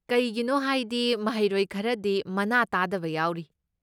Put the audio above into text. ꯀꯩꯒꯤꯅꯣ ꯍꯥꯏꯗꯤ ꯃꯍꯩꯔꯣꯏ ꯈꯔꯗꯤ ꯃꯅꯥ ꯇꯥꯗꯕ ꯌꯥꯎꯔꯤ꯫